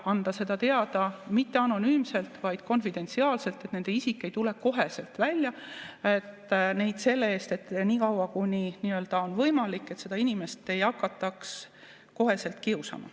Ja anda seda teada mitte anonüümselt, vaid konfidentsiaalselt, et nende isik ei tuleks koheselt välja, et selle eest, nii kaua kuni on võimalik, seda inimest ei hakataks kiusama.